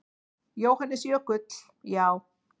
Jóhannes Jökull: Já.